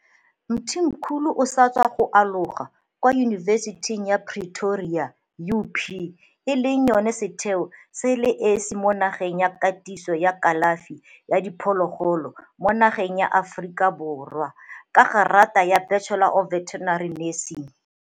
Mthimkhulu o sa tswa go aloga kwa Yunibesithing ya Pretoria, UP, e leng yona setheo se le esi mo nageng sa katiso ya kalafi ya diphologolo mo nageng ya Aforika Borwa, ka gerata ya Bachelor of Veterinary Nursing.